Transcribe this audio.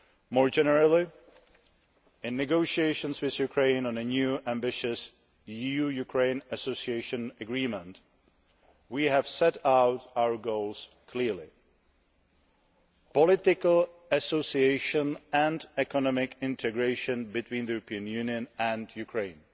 More generally, in negotiations with Ukraine on a new ambitious EU Ukraine association agreement, we have set out our goals clearly political association and economic integration between the European Union and Ukraine.